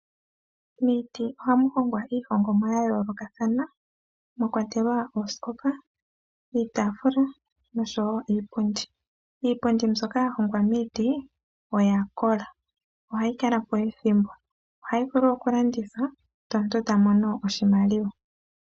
Miiti ohamu hongwa iihongomwa ya yoolokathana mwakwatelwa oosikopa, iitafula nosho wo iipundi. Iipundi mbyoka ya hongwa miiti oya kola, ohayi kala po ethimbo, ohayi vulu okulandithwa ndele omuntu ta mono oshimaliwa.